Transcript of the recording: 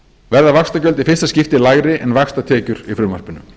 verða vaxtagjöld í fyrsta skipti lægri en vaxtatekjur í frumvarpinu